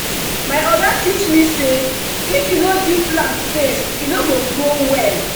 my oga teach me say if you no give plant space e no go grow well.